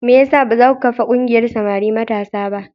Me ya sa ba za ku kafa ƙungiyar samari matasa ba?